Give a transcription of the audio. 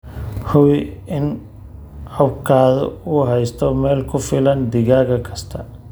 Hubi in coobkaaga uu haysto meel ku filan digaag kasta.